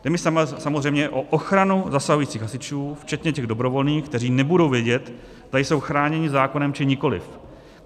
Jde mi samozřejmě o ochranu zasahujících hasičů včetně těch dobrovolných, kteří nebudou vědět, zda jsou chráněni zákonem, či nikoliv.